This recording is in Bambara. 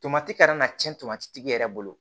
Tomati kana na cɛn tomati yɛrɛ bolo